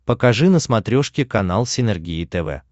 покажи на смотрешке канал синергия тв